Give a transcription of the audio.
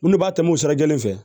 Minnu b'a tɛmɛ o sira kelen fɛ